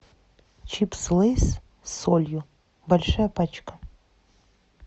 чипсы лейс с солью большая пачка